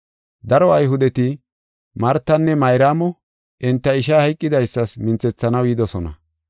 Daro Ayhudeti Martanne Mayraamo enta ishay hayqidaysas minthethanaw yidosona.